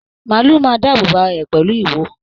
Maálù máa dáàbò bò ará rẹ pẹlu ìwo.